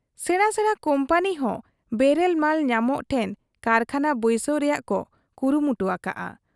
ᱥᱮᱬᱟ ᱥᱮᱬᱟ ᱠᱩᱢᱯᱟᱹᱱᱤᱦᱚᱸ ᱵᱮᱨᱮᱞ ᱢᱟᱞ ᱧᱟᱢᱚᱜ ᱴᱷᱮᱱ ᱠᱟᱨᱠᱷᱟᱱᱟ ᱵᱟᱹᱭᱥᱟᱹᱣ ᱨᱮᱭᱟᱜ ᱠᱚ ᱠᱩᱨᱩᱢᱩᱴᱩ ᱟᱠᱟᱜ ᱟ ᱾